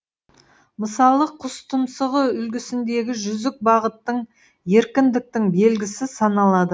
мысалы құс тұмсығы үлгісіндегі жүзік бағыттың еркіндіктің белгісі саналады